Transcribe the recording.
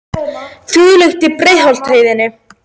Þungfært er á Breiðdalsheiði